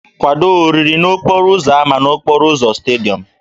Kwado oriri n'okporo ámá n'okporo ụzọ Stádịọm!